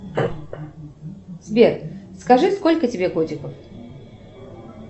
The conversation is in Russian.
сбер скажи сколько тебе годиков